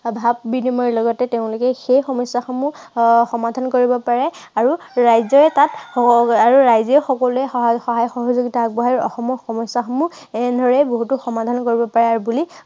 ভাৱ বিনিময় লগতে তেওঁলোকে সেই সমস্যাসমূহ আহ সমাধান কৰিব পাৰে আৰু ৰাইজেও তাত আহ ৰাইজেও সকলোৱে সহায় সহযোগিতা আগবঢ়াই অসমৰ সমস্যাসমূহ এনেদৰেই বহুতো সমাধান কৰিব পাৰে বুলি